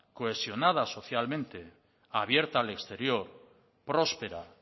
cohesionada socialmente abierta al exterior próspera